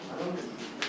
Adam iş görür.